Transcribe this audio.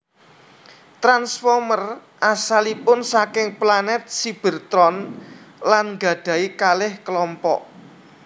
Transformers asalipun saking planet Cybertron lan nggadhahi kalih klompok